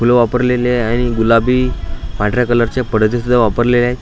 फुलं वापरलेले आहे गुलाबी पांढऱ्या कलर चे पडदे सुद्धा वापरलेले आहे.